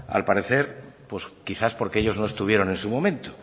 al parecer pues quizás porque ellos no estuvieron en su momento